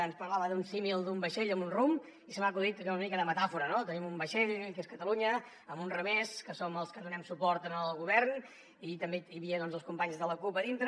ens parlava d’un símil d’un vaixell amb un rumb i se m’ha acudit una mica de metàfora no tenim un vaixell que és catalunya amb uns remers que som els que donem suport al govern i també hi havia doncs els companys de la cup a dintre